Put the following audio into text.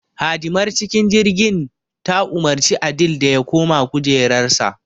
Hadimar cikin jirgin the umarci Adeel da ya koma kujerarsa